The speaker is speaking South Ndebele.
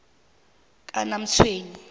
kanamtshweni